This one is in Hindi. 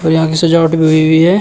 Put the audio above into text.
यहां की सजावट भी होई हुई है।